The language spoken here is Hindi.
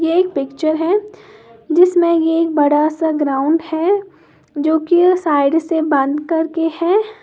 ये एक पिक्चर है जिसमें ये बड़ा सा ग्राउंड है जो कि यह साइड से बंद करके है।